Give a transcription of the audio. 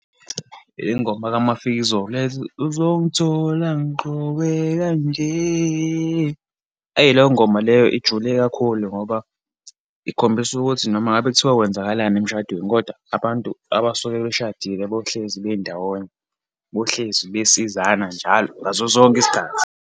Ingoma kaMafikizolo le ethi, uzongithola ngigqoke kanje. Ayi, leyo ngoma leyo ijule kakhulu ngoba ikhombisa ukuthi noma ngabe kuthiwa kwenzakalani emshadweni, kodwa abantu abasuke beshadile bohlezi bendawonye, bohlezi besizana njalo, ngaso sonke isikhathi.